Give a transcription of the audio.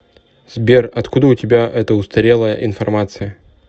сбер откуда у тебя эта устарелая информация